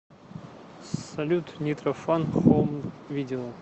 салют нитро фан хоум видео